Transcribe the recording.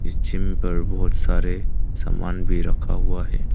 इस जिम पर बहोत सारे सामान भी रखा हुआ है।